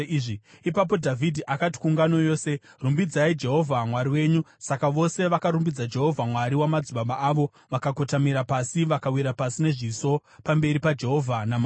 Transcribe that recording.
Ipapo Dhavhidhi akati kuungano yose, “Rumbidzai Jehovha Mwari wenyu.” Saka vose vakarumbidza Jehovha, Mwari wamadzibaba avo; vakakotamira pasi vakawira pasi nezviso pamberi paJehovha naMambo.